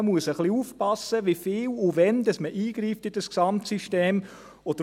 Man muss ein bisschen aufpassen, wie viel und wann man in das Gesamtsystem eingreift.